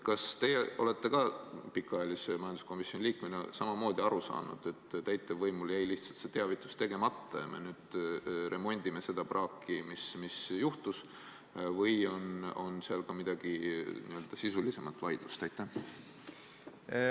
Kas teie pikaajalise majanduskomisjoni liikmena olete saanud samamoodi aru, et täitevvõimul jäi lihtsalt see teavitus tegemata ja nüüd me remondime seda praaki, mis juhtus, või on seal ka mingisugune n-ö sisulisem vaidlus taga?